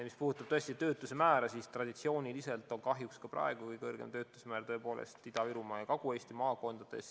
Mis puudutab töötuse määra, siis traditsiooniliselt on kahjuks ka praegu kõrgeim töötuse määr Ida-Virumaal ja Kagu-Eesti maakondades.